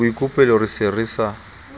boikopelo re se re sa